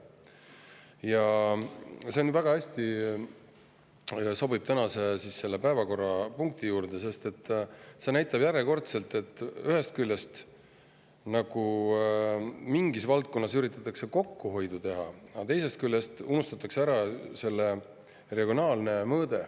See näide sobib väga hästi tänase päevakorrapunkti juurde, sest see tõestab järjekordselt, et ühest küljest üritatakse mingis valdkonnas kokkuhoidu teha, aga teisest küljest unustatakse ära selle regionaalne mõõde.